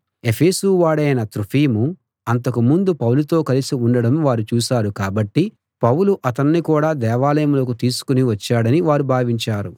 ఎఫెసు వాడైన త్రోఫిము అంతకు ముందు పౌలుతో కలిసి ఉండడం వారు చూశారు కాబట్టి పౌలు అతణ్ణి కూడా దేవాలయంలోకి తీసుకుని వచ్చాడని వారు భావించారు